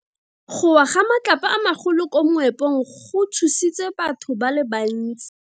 Go wa ga matlapa a magolo ko moepong go tshositse batho ba le bantsi.